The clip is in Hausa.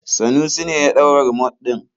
Sanusi ne ya ɗau rumot ɗin.